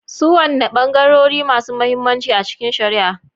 Su wanene bangarori masu mahimmanci a cikin shari'a?